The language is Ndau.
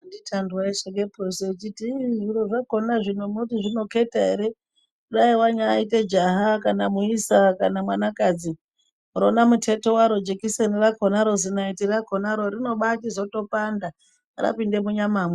Anditi Andu aisheka purosi echiti zviri zvacho munoti zvinokheta, dai wantaite jaha kana muisa kana mwanakadzi rona muteto waro jekiseni rakonaro, zinaiti rakonaro rinobachitopanda kupinda munyamamo.